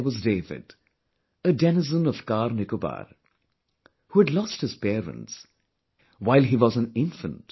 There was David, a denizen of CarNicobar who had lost his parents while he was an infant